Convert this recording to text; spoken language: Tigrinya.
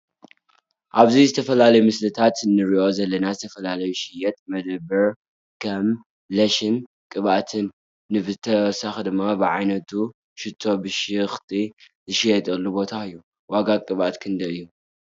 አብዚ ዝተፈላለዮ ምሰልታት እንርኦ ዘለና ዘተፈላለዮ ዝሸየጥ መደብር ኸም ለሸን ቅብአት ን ብተወሳኪ ድማ ብዓይነቱ ሽቶ ብሸክቲ ዝሸየጠሉ ቦታ እዮ ።ዋጋ ቅብአት ክንደይ እዮ?